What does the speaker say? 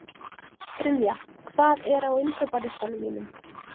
Brynja, hvað er á innkaupalistanum mínum?